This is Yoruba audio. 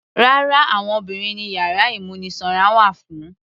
Rárá, àwọn obìnrin ni yàrá ìmúnisanra wà fún.